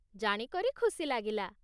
ଜାଣିକରି ଖୁସି ଲାଗିଲା ।